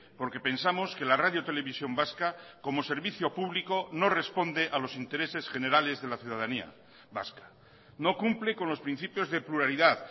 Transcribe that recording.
porque pensamos que la radio televisión vasca como servicio público no responde a los intereses generales de la ciudadanía vasca no cumple con los principios de pluralidad